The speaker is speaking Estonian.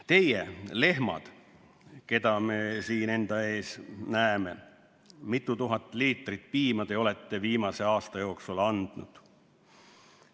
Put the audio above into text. Teie, lehmad, keda ma siin enda ees näen, mitu tuhat liitrit piima te olete viimase aasta jooksul andnud?